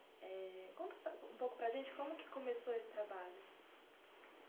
Eh conta para a um pouco para a gente como é que começou esse trabalho.